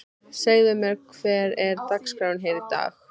Segðu mér, hver er dagskráin hér í dag?